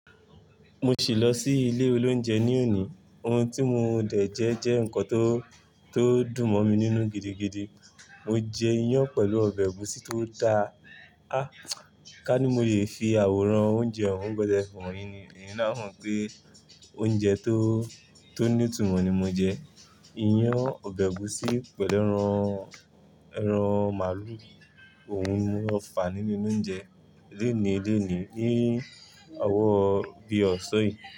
Mo ti lọ sí ilé oloúnjẹ ní òní. Ohun tí mo dẹ̀ jẹ jẹ́ ǹkan tó, tó dùn mọ́ mi nínú gidigidi. Mo jẹ iyán pẹ̀lú ọbẹ̀ ẹ̀gúsí tó da. Àh! Ká ní mo le fi àwòrán oúnjẹ òún bẹ́ẹ̀ fún un yín, eyin na a mo pé oúnjẹ tó, tó ní ìtumọ̀ ni mo jẹ. Iyán ọbẹ̀ ẹ̀gúsí pẹ̀lú ẹran, ẹran màálù. Ohun ni mo lọ̀fà níle oloúnjẹ. Léni, léni ní owó bí ọ̀sán yìí.